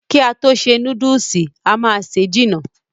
Ki a to ṣe núdùùsì, a má se jìnà.